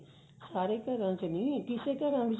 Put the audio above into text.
ਸਾਰੇ ਘਰਾਂ ਚ ਨੀ ਕਿਸੇ ਘਰਾਂ ਵਿੱਚ